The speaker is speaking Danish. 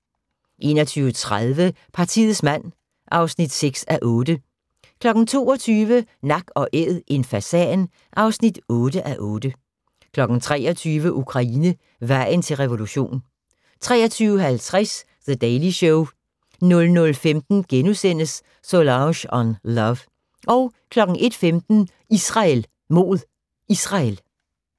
21:30: Partiets mand (6:8) 22:00: Nak & Æd – en fasan (8:8) 23:00: Ukraine – vejen til revolution 23:50: The Daily Show 00:15: Solange on Love * 01:15: Israel mod Israel